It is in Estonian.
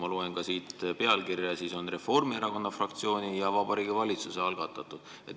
Ma loen siit pealkirjast, et see eelnõu on "Reformierakonna fraktsiooni ja Vabariigi Valitsuse algatatud".